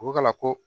O ko ka la ko